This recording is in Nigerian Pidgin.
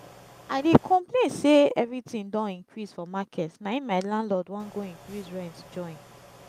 i dey complain say everything don increase for market na im my landlord wan go increase rent join